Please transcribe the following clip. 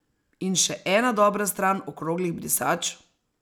In še ena dobra stran okroglih brisač?